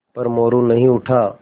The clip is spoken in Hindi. पर मोरू नहीं उठा